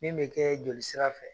Min be kɛɛ joli sira fɛ